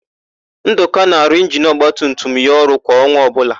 Ndụka na-arụ injinu ọgbatumtum ya ọrụ kwa ọnwa ọbụla.